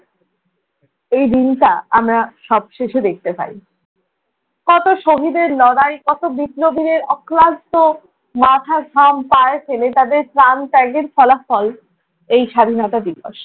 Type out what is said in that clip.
এই দিনটা আমরা সবশেষে দেখতে পাই। কত শহীদের লড়াই, কত বিপ্লবীদের অক্লান্ত মাথার ঘাম পায়ে ফেলে তাদের প্রাণ ত্যাগের ফলাফল এই স্বাধীনতা দিবস।